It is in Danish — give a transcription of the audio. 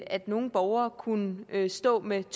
at nogle borgere kunne stå med et